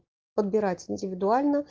подбираеть индивидуально